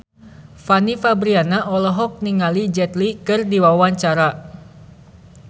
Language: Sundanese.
Fanny Fabriana olohok ningali Jet Li keur diwawancara